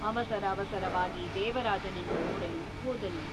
ಅವಸರ ಅವಸರವಾಗಿ ದೇವರಾಜನನ್ನು ನೋಡಲು ಹೋದನು.